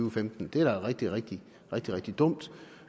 og femten det er da rigtig rigtig rigtig dumt